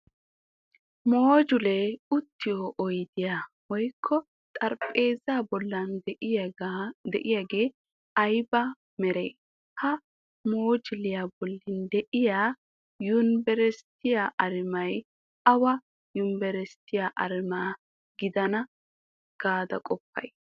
Mojulee uttiyo oyddiya woykko xarabeezzaa bollan de'iyagee ayba meree? Ha moojuliya bolli de'iya yunbberesttiya arumay awa yunbberesttiya arumaa gidana gaada qoppayii?